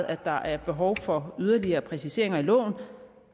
at der er behov for yderligere præciseringer af loven